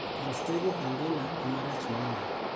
Unstable angina emarach moloyo.